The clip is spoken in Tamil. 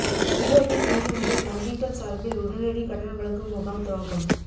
ஈரோட்டில் இன்று முதல் வங்கிகள் சார்பில் உடனடி கடன் வழங்கும் முகாம் துவக்கம்